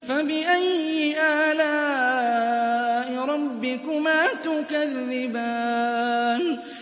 فَبِأَيِّ آلَاءِ رَبِّكُمَا تُكَذِّبَانِ